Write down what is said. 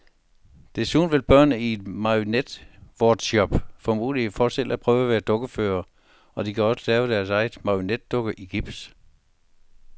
Desuden vil børnene i en marionetworkshop få mulighed for selv at prøve at være dukkeførere, og de kan også lave deres egen marionetdukke i gips.